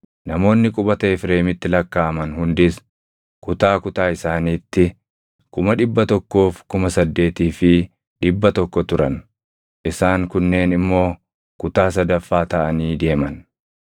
Namoonni qubata Efreemitti lakkaaʼaman hundis kutaa kutaa isaaniitti 108,100 turan. Isaan kunneen immoo kutaa sadaffaa taʼanii deeman.